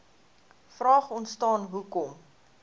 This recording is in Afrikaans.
vraag ontstaan hoekom